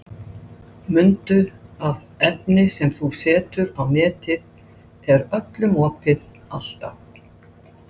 Þetta var áfall, maður gerði sér ekki grein fyrir þessu.